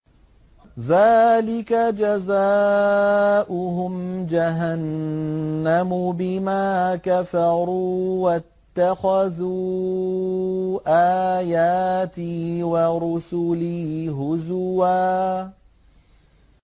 ذَٰلِكَ جَزَاؤُهُمْ جَهَنَّمُ بِمَا كَفَرُوا وَاتَّخَذُوا آيَاتِي وَرُسُلِي هُزُوًا